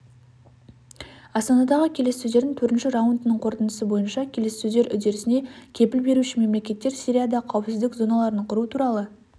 астанадағы келіссөздердің төртінші раундының қорытындысы бойынша келіссөздер үдерісіне кепіл беруші мемлекеттер сирияда қауіпсіздік зоналарын құру туралы